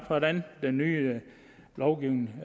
hvordan den nye lovgivning